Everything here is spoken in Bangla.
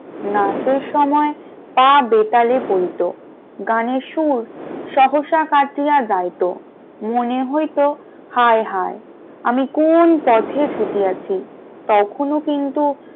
নাচের সময় তা বেতালে পরিতো গানের সুর সহসা কাটিয়া যাইত, মনে হইত হায় হায় আমি কোন পথে ছুটিয়াছি তখনো কিন্তু,